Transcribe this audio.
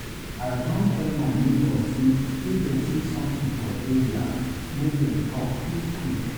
I don tel my nebors say if dem see somtin for area, make dem talk quick quick.